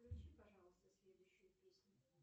включи пожалуйста следующую песню